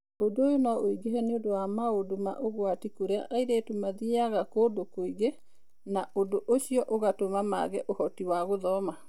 Ũndũ ũyũ no ũingĩhe nĩ ũndũ wa maũndũ ma ũgwati kũrĩa airĩtu mathiaga kũndũ kũingĩ na ũndũ ũcio ũgatũma mage ũhoti wa gũthoma.